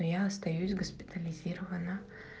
я остаюсь госпитализирована